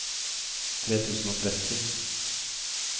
tre tusen og tretti